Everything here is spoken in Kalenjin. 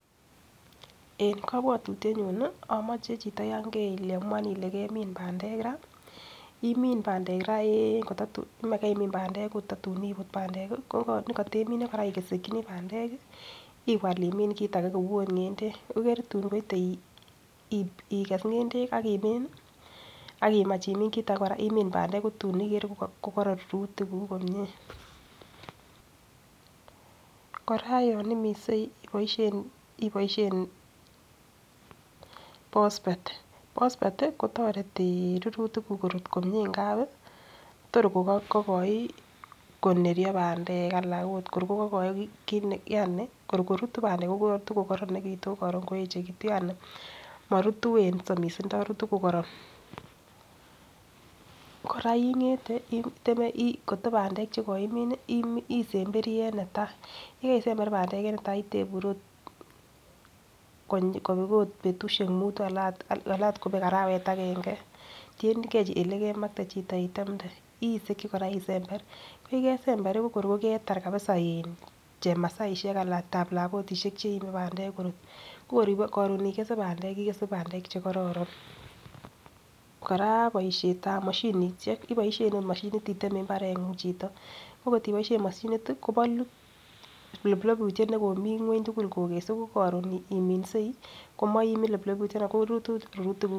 En kobwotutyet nyun nii omoche chito yon keiamun Ile kemin pandek raa imin pandek raa en kotatun komakeimin pandek kotatun iput pandek kii ko nekotemine Koraa isekinii pandek kii iwal imin okotkit age kou okot ngendek ikere tun koite ikes ngendek akimin nii akimach imin kit age koraa imin pandek kotun ikere kokoron rurutik kuk komie. Koraa yon iminsei iboishen iboishen phosphate ,phosphate tiii kotoeti rurutik kuk korut komie ngapi tor kokogoi koneryo pandek Alan ot kor ko kogoi kit ne yani kor korutu pandek Kotor kokoronekitun korun koyechekitu yani morutu en somisindo rutu ko koron. Koraa ingete iteme koto pandek chekoimin isemberi en netai yekeisember pandek en netai itebur ot kobet ot bushek mutu aln ot kobek arawet agenge tiyengee elekemakte. Chito itemde isiki Koraa isemberi , koyekesembee ko kor kokeitar kabisa in chemasaishek anan talabotishek cheime pandek korut ko korun igese pandek ikese pandek chekororon. Koraa boishetab moshinishek oboishen ot moshinit iteme imbarenguny chito, ko kokiboishen moshinit kobolu ploplobutyet nekomii ngweny tukul kokesu ko korun iminsei komoimi loploputyonon rutu tukuk.